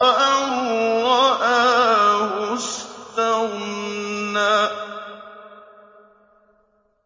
أَن رَّآهُ اسْتَغْنَىٰ